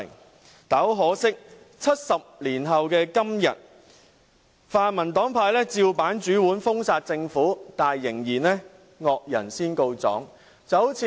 不過，可惜的是，在70年後的今天，泛民黨派照樣封殺政府，但仍然"惡人先告狀"。